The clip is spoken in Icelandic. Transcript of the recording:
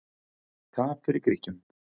Tap fyrir Grikkjum